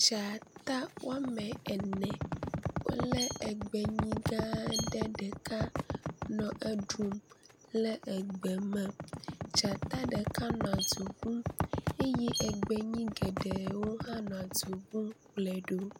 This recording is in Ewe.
Dzata woamene, wolé egbenyi gãa ɖe ɖeka nɔ eɖum le egbe me. Dzata ɖeka nɔ du ŋum eye egbenyi geɖewo hã nɔ du ŋum kplɔe ɖo.